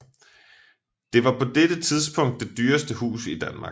Det var på dette tidspunkt det dyreste hus i Danmark